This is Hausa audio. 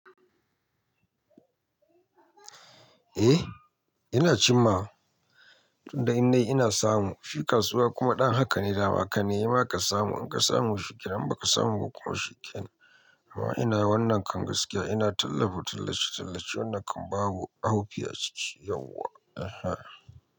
Eh, ina cin ma, tun da indai ina samu shi kasuwa kuma ɗan haka ne dama kana yi ma ka samu, in ka samu shikenan in ba ka samu ba kuma shikenan. Amma ina wannan kan gaskiya ina tallafi tallace-tallace wannan kan babu haufi a ciki yauwa. Eha!